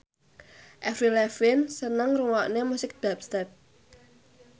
Avril Lavigne seneng ngrungokne musik dubstep